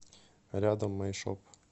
рядом май шоп